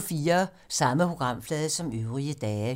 Samme programflade som øvrige dage